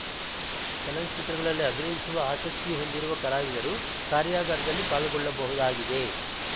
ಚಲನಚಿತ್ರಗಳಲ್ಲಿ ಅಭಿನಯಿಸುವ ಆಸಕ್ತಿ ಹೊಂದಿರುವ ಕಲಾವಿದರು ಕಾರ್ಯಾಗಾರದಲ್ಲಿ ಪಾಲ್ಗೊಳ್ಳಬಹುದಾಗಿದೆ